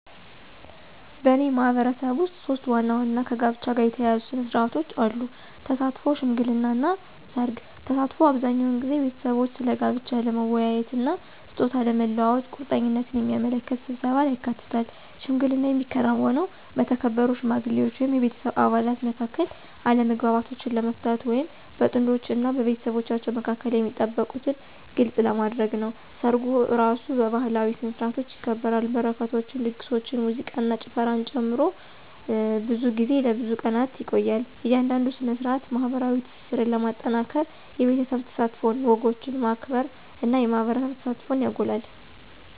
በእኔ ማህበረሰብ ውስጥ ሶስት ዋና ዋና ከጋብቻ ጋር የተያያዙ ሥነ ሥርዓቶች አሉ - ተሳትፎ፣ ሽምግልና እና ሠርግ። ተሳትፎ አብዛኛውን ጊዜ ቤተሰቦች ስለ ጋብቻ ለመወያየት እና ስጦታ ለመለዋወጥ ቁርጠኝነትን የሚያመለክት ስብሰባን ያካትታል። ሽምግልና የሚከናወነው በተከበሩ ሽማግሌዎች ወይም የቤተሰብ አባላት መካከል አለመግባባቶችን ለመፍታት ወይም በጥንዶች እና በቤተሰቦቻቸው መካከል የሚጠበቁትን ግልጽ ለማድረግ ነው። ሰርጉ እራሱ በባህላዊ ስነ-ስርዓቶች ይከበራል, በረከቶችን, ድግሶችን, ሙዚቃን እና ጭፈራን ጨምሮ, ብዙ ጊዜ ለብዙ ቀናት ይቆያል. እያንዳንዱ ሥነ ሥርዓት ማኅበራዊ ትስስርን ለማጠናከር የቤተሰብ ተሳትፎን፣ ወጎችን ማክበር እና የማህበረሰብ ተሳትፎን ያጎላል።